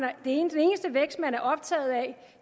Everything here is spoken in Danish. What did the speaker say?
er optaget af